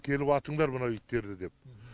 келіп атыңдар мына иттерді деп